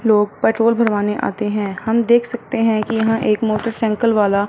लोग पेट्रोल भरवाने आते हैं हम देख सकते हैं कि यहां एक मोटरसाइकल वाला--